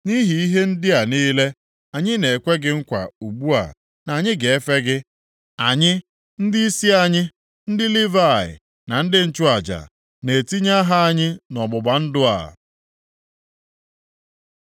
“Nʼihi ihe ndị a niile, anyị na-ekwe gị nkwa ugbu a na anyị ga-efe gị. Anyị, ndịisi anyị, ndị Livayị na ndị nchụaja, na-etinye aha anyị nʼọgbụgba ndụ a.”